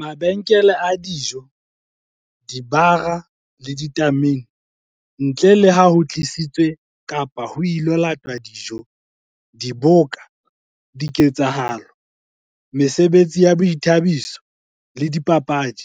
Mabenkele a dijo, dibara le ditamene, ntle le ha ho tlisitswe kapa ho ilo latwa dijo. Diboka, diketsahalo, mesebetsi ya boithabiso le dipapadi.